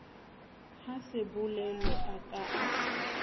ha sebolelo a ka a